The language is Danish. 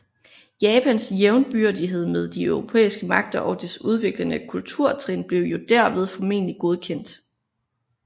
Japans jævnbyrdighed med de europæiske magter og dets udviklede kulturtrin blev jo derved formelig godkendt